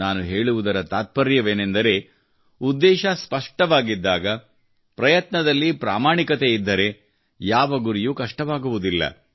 ನಾನು ಹೇಳುವುದರ ತಾತ್ಪರ್ಯವೇನೆಂದರೆ ಉದ್ದೇಶ ಸ್ಪಷ್ಟವಾಗಿದ್ದಾಗ ಪ್ರಯತ್ನದಲ್ಲಿ ಪ್ರಾಮಾಣಿಕತೆ ಇದ್ದರೆ ಯಾವ ಗುರಿಯೂ ಕಷ್ಟವಾಗುವುದಿಲ್ಲ